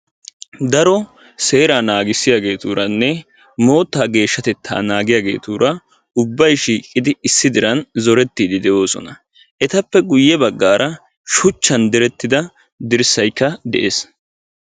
daro seraa nagisiyaageeturanne moottaa geeshshatettaa naagigiyaageetura ubbay shiiqidi issi diran zoretiidi de'oosona. etappe guye bagaara shuchchan diretti uttida dirssaykka de'ees.